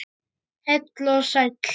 Heill og sæll!